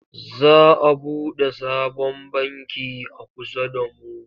Za a buɗe sabon banki a kusa da mu.